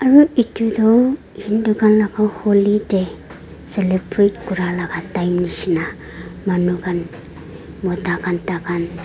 aro etu toh hindu khan holiday day celebrate kura la ka time nishi na manu khan mota khan tai khan.